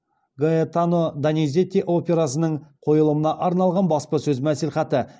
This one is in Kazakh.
гаэтано дониззети операсының қойылымына арналған баспасөз мәслихаты